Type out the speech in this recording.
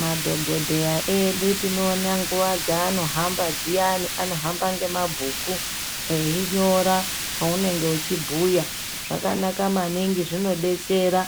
Madhokodheya edu tinoona nguwa dzaanohamba dziyani anohamba ngemabhuku einyora zvaunenge uchibhuya. Zvakanaka maningi zvinodetsera